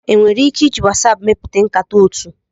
Enwere ike iji WhatsApp mepụta nkata otu.